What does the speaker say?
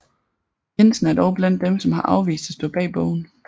Jensen er dog blandt dem som har afvist at stå bag bogen